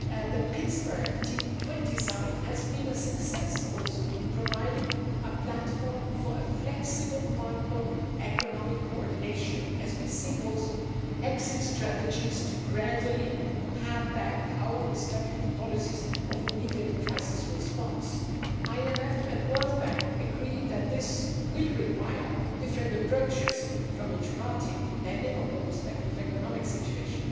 The Pittsburgh G20 Summit has also been a success in providing a platform for flexible macroeconomic coordination as we also seek exit strategies to gradually pare back our respective policies of immediate crisis response. The IMF and the World Bank agree that this will require different approaches from each party depending on the respective economic situation.